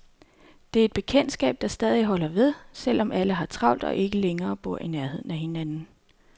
Det er et bekendtskab, der stadig holder ved, selv om alle har travlt og ikke længere bor i nærheden af hinanden.